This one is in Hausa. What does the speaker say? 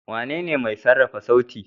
Wanene mai sarrafa sauti.